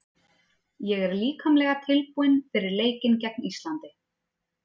Ég er líkamlega tilbúinn fyrir leikinn gegn Íslandi.